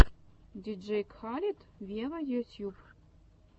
диджей кхалед вево ютьюб